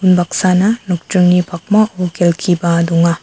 unbaksana nokdringni pakmao kelkiba donga.